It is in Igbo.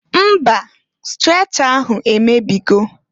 Mba! Strecha ahụ emebigo.